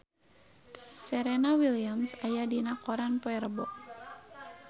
Serena Williams aya dina koran poe Rebo